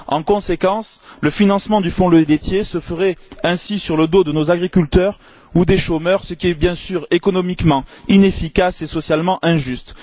En conséquence, le financement du fonds laitier se ferait au détriment de nos agriculteurs ou des chômeurs ce qui est, bien sûr, économiquement inefficace et socialement injuste.